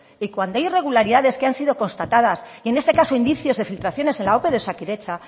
y que cuando hay irregularidades que han sido constatadas y en este caso indicios de filtraciones en la ope de osakidetza